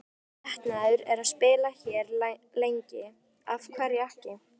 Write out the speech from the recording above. Minn metnaður er að spila hér lengi, af hverju ekki?